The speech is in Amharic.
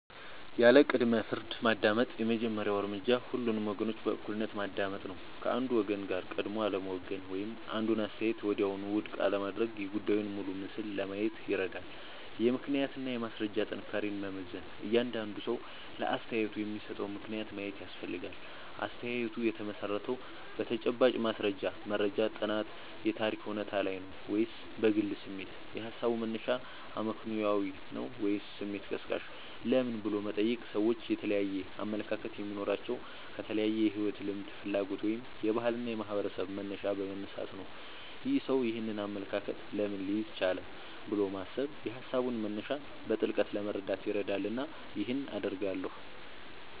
ያለ ቅድመ-ፍርድ ማዳመጥ የመጀመሪያው እርምጃ ሁሉንም ወገኖች በእኩልነት ማዳመጥ ነው። ከአንዱ ወገን ጋር ቀድሞ አለመወገን ወይም አንዱን አስተያየት ወዲያውኑ ውድቅ አለማድረግ የጉዳዩን ሙሉ ምስል ለማየት ይረዳል። የምክንያትና የማስረጃ ጥንካሬን መመዘን እያንዳንዱ ሰው ለአስተያየቱ የሚሰጠውን ምክንያት ማየት ያስፈልጋል። አስተያየቱ የተመሠረተው በተጨባጭ ማስረጃ (መረጃ፣ ጥናት፣ የታሪክ እውነታ) ላይ ነው ወይስ በግል ስሜት? የሃሳቡ መነሻ አመክንዮአዊ ነው ወይስ ስሜት ቀስቃሽ? ለምን" ብሎ መጠየቅ ሰዎች የተለያየ አመለካከት የሚኖራቸው ከተለያየ የሕይወት ልምድ፣ ፍላጎት ወይም የባህልና የማኅበረሰብ መነሻ በመነሳት ነው። "ይህ ሰው ይህንን አመለካከት ለምን ሊይዝ ቻለ?" ብሎ ማሰብ የሃሳቡን መነሻ በጥልቀት ለመረዳት ይረዳልና ይህን አደርጋለሁ